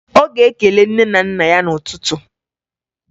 Ọ ga-ekele nne na nna ya n'ụtụtụ